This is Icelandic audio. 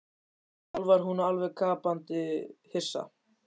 Sjálf var hún alveg gapandi hissa.